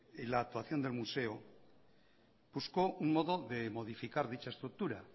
en la actuación del museo buscó un modo de modificar dicha estructura